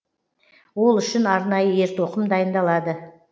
ол үшін арнайы ер тоқым дайындалады